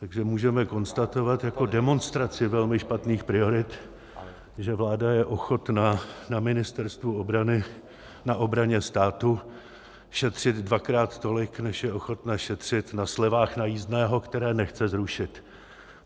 Takže můžeme konstatovat jako demonstraci velmi špatných priorit, že vláda je ochotna na Ministerstvu obrany, na obraně státu šetřit dvakrát tolik, než je ochotna šetřit na slevách na jízdném, které nechce zrušit.